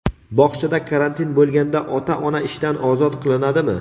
Bog‘chada karantin bo‘lganda ota-ona ishdan ozod qilinadimi?.